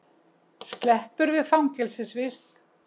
Sleppur við fangelsisvist